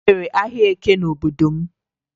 E nwere ahịa Eke n'obodo m